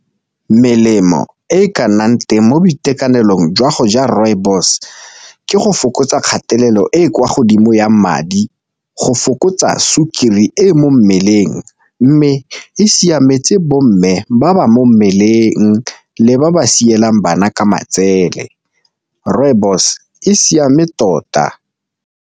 Melemo e ka nnang teng mo boitekanelong jwa go ja rooibos ke go fokotsa kgatelelo e kwa godimo ya madi, go fokotsa sukiri e leng mo mmeleng, mme e siametse bo mme ba ba mo mmeleng le ba ba siamelang bana ka matsele rooibos e siame tota.